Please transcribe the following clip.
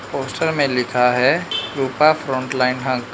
poster में लिखा है रूपा फ्रंटलाइन हंक --